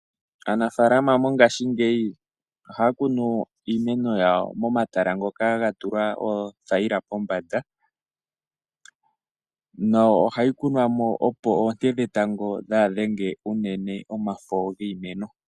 Aanafaalama mongashingeyi ohaya kunu iimeno yawo moma tala ngoka ga tulwa oothayila pombada noha yi kunwa mo opo oonte dhe tango dhaa dhenge unene omafo giimeno.